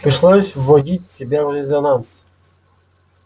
пришлось вводить себя в резонанс